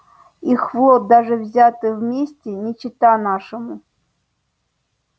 их флот даже взятый вместе не чета нашему